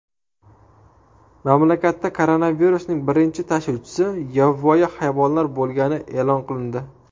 Mamlakatda koronavirusning birinchi tashuvchisi yovvoyi hayvonlar bo‘lgani e’lon qilindi .